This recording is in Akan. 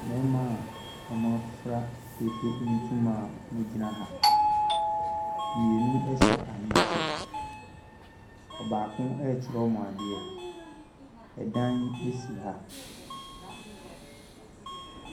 Nnoɔma a wɔn mo afira dwadie ntoma a wɔn mo ɛregyina ha mmienu ɛhyɛ ahenkyɛ ɔbaako erekyerɛ wɔn adeɛ ɛdan bi si ha.